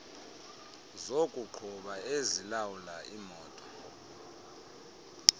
zokuqhuba ezilawula imoto